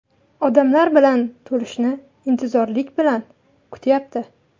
Odamlar bilan to‘lishini intizorlik bilan kutyapti.